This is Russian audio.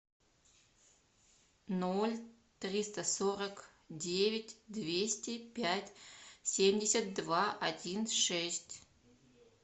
ноль триста сорок девять двести пять семьдесят два один шесть